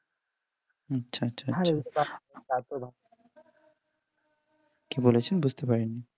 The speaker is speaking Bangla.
কি বলেছেন বুঝতে পারিনি